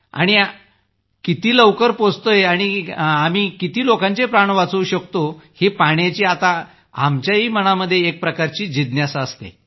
आणि आपण किती लवकर पोहोचतोय आणि किती लोकांचे प्राण वाचवू शकतो हे पाहण्याची आता आमच्या मनातही एकप्रकारची जिज्ञासा असते